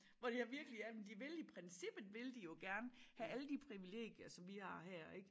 Hvor de har virkelig ja men de vil i princippet vil de jo gerne have alle de privilegier som vi har her ik